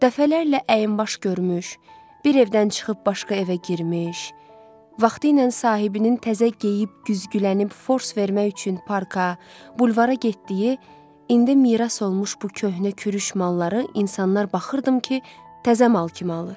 Dəfələrlə əyinbaş görmüş, bir evdən çıxıb başqa evə girmiş, vaxtı ilə sahibinin təzə geyib güzgülənib fors vermək üçün parka, bulvara getdiyi, indi miras olmuş bu köhnə kürüş malları insanlar baxırdım ki, təzə mal kimi alır.